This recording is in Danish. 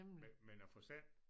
Men men at få sendt